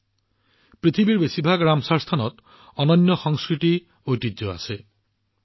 ৰামচৰ স্থানৰ বেছিভাগ শব্দৰ এক অনন্য সাংস্কৃতিক ঐতিহ্যও আছে